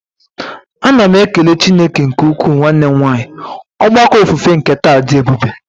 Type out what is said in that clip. A na m ekele Chineke nke ukwuu nwanne m nwanyị, ogbako ofufe nke taa dị ebube.